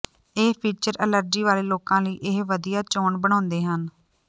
ਇਹ feature allergy ਵਾਲੇ ਲੋਕਾਂ ਲਈ ਇਹ ਵਧੀਆ ਚੋਣ ਬਣਾਉਂਦੇ ਹਨ